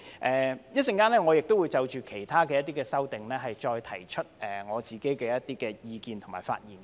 我稍後也會就其他的修正案再提出我的意見和發言。